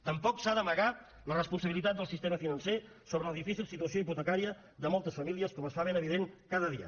tampoc s’ha d’amagar la responsabilitat del sistema financer sobre la difícil situació hipotecària de moltes famílies com es fa ben evident cada dia